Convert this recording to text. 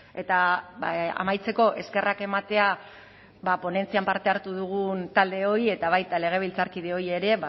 eta amaitzeko eskerrak ematea ponentzian parte hartu dugun taldeoi eta baita legebiltzarkideoi ere